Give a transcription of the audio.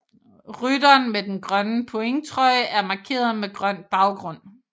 Rytteren med den grønne pointtrøje er markeret med grøn baggrund